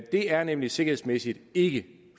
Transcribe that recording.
det er nemlig sikkerhedsmæssigt ikke